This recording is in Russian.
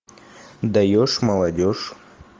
даешь молодежь